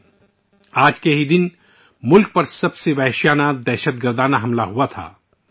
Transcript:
یہ وہی دن ہے ، جب ملک پر زبردست دہشت گردانہ حملہ کیا گیا تھا